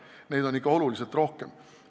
Neid on ikka oluliselt rohkem.